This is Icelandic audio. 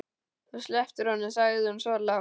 Þú slepptir honum, sagði hún svo lágt.